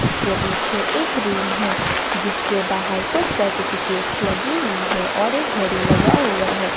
उसके पीछे एक रूम है जिसके बाहर कुछ सर्टिफिकेट लगी हुई है और एक घड़ी लगा हुआ है।